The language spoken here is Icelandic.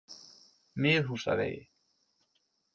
Miðhúsavegi